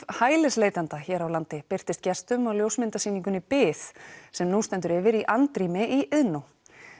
hælisleitenda hér á landi birtist gestum á ljósmyndasýningunni bið sem nú stendur yfir í andrými í Iðnó